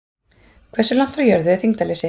Hversu langt frá jörðu er þyngdarleysi?